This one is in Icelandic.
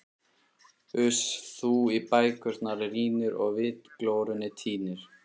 Uss, þú í bækurnar rýnir og vitglórunni týnir.